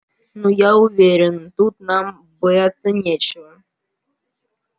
ну я уверен тут нам бояться нечего